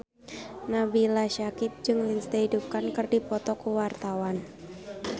Nabila Syakieb jeung Lindsay Ducan keur dipoto ku wartawan